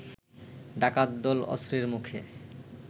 ডাকাতদল অস্ত্রের মুখে